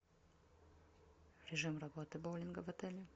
режим работы боулинга в отеле